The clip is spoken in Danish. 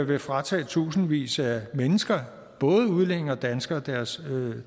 vil fratage tusindvis af mennesker både udlændinge og danskere deres